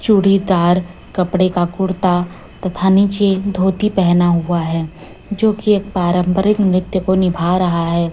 चूड़ीदार कपड़े का कुर्ता तथा नीचे धोती पहना हुआ है जो की एक पारंपरिक नृत्य को निभा रहा है।